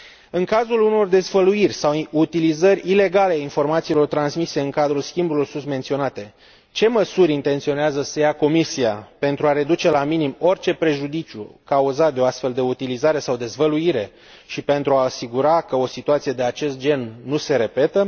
În cazul unor dezvăluiri sau utilizări ilegale a informațiilor transmise în cadrul schimburilor sus menționate, ce măsuri intenționează să ia Comisia pentru a reduce la minim orice prejudiciu cauzat de o astfel de utilizare sau dezvăluire și pentru a asigura că o situație de acest gen nu se repetă?